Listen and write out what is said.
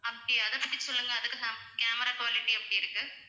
அப்படியா அத பத்தி சொல்லுங்க அதுக்கு cam~ camera quality எப்படி இருக்கு?